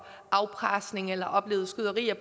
afpresning eller har oplevet skyderier